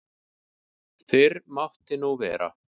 Fyrr mátti nú vera!